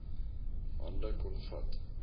hande kon vat